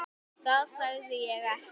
Það sagði ég ekki